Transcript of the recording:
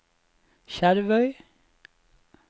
Skjervøy